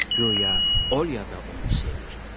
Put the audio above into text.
Göya Olya da onu sevir.